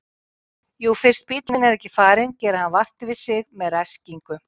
Jú fyrst bíllinn er ekki farinn gerir hann vart við sig með ræskingu.